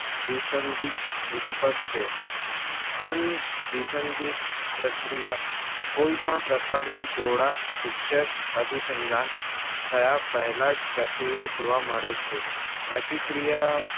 ભિસંન્ધિક ઉંધિપદ છે અનધીશનધિક પ્રક્રિયા કોઈ પણ પ્રકારના જોડા ભિક્ષક અભીસંધાન થયા પેહલા જ પ્રક્રિયા જોવા મળે છે. પ્રતિક્રિયા